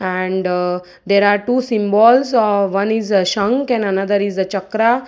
and uh there are two symbols o one is shankh and another is chakra .